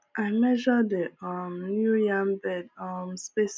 i measure the um new yam bed um space